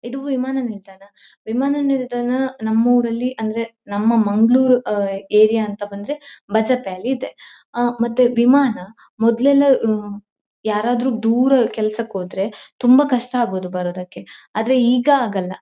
ಇದು ವಿಮಾನ ನಿಲ್ದಾಣ ವಿಮಾನ ನಿಲ್ದಾಣ ನಮ್ ಊರಲ್ಲಿ ಅಂದ್ರೆ ನಮ್ಮ ಮಂಗಳೂರು ಅಹ್ ಏರಿಯಾ ಅಂತ ಬಂದ್ರೆ ಬಜ್ಪೆಯಲ್ಲಿ ಇದೆ ಆಹ್ಹ್ ಮತ್ತೆ ವಿಮಾನ ಮೊದಲೆಲ್ಲ ಯಾರಾದರೂ ದೂರ ಕೆಲಸಕ್ಕೆ ಹೋದ್ರೆ ತುಂಬಾ ಕಷ್ಟ ಆಗೋದು ಬರೋದಕ್ಕೆ ಆದ್ರೆ ಈಗ ಆಗಲ್ಲ.